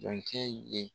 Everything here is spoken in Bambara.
Jɔn ye